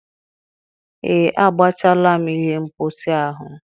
Ee, agbachaala m ihe mposi ahụ.